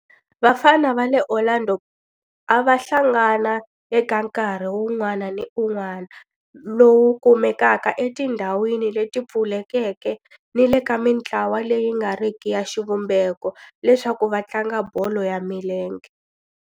Vafana va le Orlando a va hlangana eka nkarhi wun'wana ni wun'wana lowu kumekaka etindhawini leti pfulekeke ni le ka mintlawa leyi nga riki ya xivumbeko leswaku va tlanga bolo ya milenge.